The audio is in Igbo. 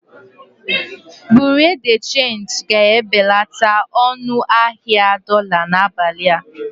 Bureau de change ga-ebelata ọnụ ahịa dolá n'abalị a.